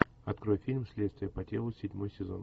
открой фильм следствие по телу седьмой сезон